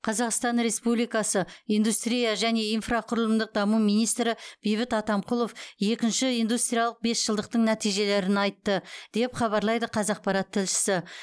қазақстан республикасы индустрия және инфрақұрылымдық даму министрі бейбіт атамқұлов екінші индустриялық бесжылдықтың нәтижелерін айтты деп хабарлайды қаақпарат тілшісі